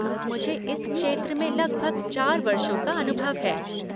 मुझे इस क्षेत्र में लगभग चार वर्षों का अनुभव है।